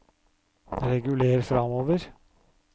reguler framover